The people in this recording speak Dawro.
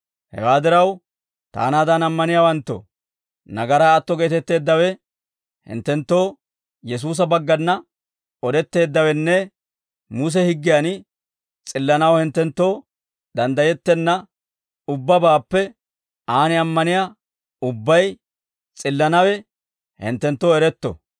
«Hewaa diraw, taanaadan ammaniyaawanttoo, nagaraa atto geetetteeddawe hinttenttoo Yesuusa baggana odetteeddawenne, Muse higgiyan s'illanaw hinttenttoo danddayettenna ubbabaappe aan ammaniyaa ubbay s'illanawe hinttenttoo eretto.